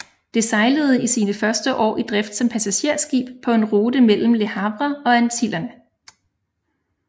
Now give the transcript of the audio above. Det sejlede i sine første år i drift som passagerskib på en rute mellem Le Havre og Antillerne